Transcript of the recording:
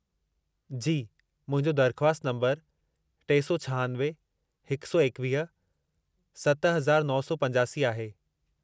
जी, मुंहिंजो दरख़्वास्त नंबरु टे सौ छहानवे- हिक सौ एकवीह - सत हज़ार नौ सौ पंजासी आहे.